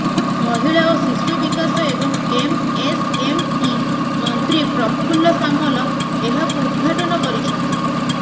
ମହିଳା ଓ ଶିଶୁ ବିକାଶ ଏବଂ ଏମ୍ଏସ୍ଏମ୍ଇ ମନ୍ତ୍ରୀ ପ୍ରଫୁଲ୍ଲ ସାମଲ ଏହାକୁ ଉଦ୍ଘାଟନ କରିଛନ୍ତି